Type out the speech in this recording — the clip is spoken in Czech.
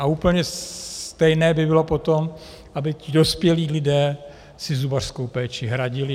A úplně stejné by bylo potom, aby ti dospělí lidé si zubařskou péči hradili.